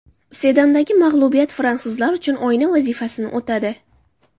Sedandagi mag‘lubiyat fransuzlar uchun oyna vazifasini o‘tadi.